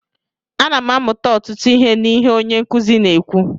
Ana m amụta ọtụtụ ihe n'ihe onye nkuzi na-ekwu